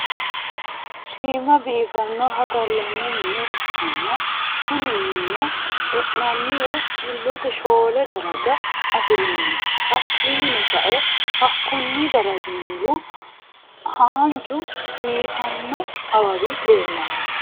shiima biifanoha galanni minne ikanna kunni minnino e'nanniwa xulotte shoole darajja afirinno hakininno sa'e hakunni darajji mulu haanju biifanno awawi leelanno.